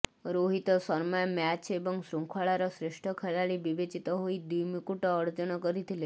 Rohit Sharma match ଏବଂ ଶୃଙ୍ଖଳାର ଶ୍ରେଷ୍ଠ ଖେଳାଳି ବିବେଚିତ ହୋଇ ଦ୍ୱିମୁକଟ ଅର୍ଜନ କରିଥିଲେ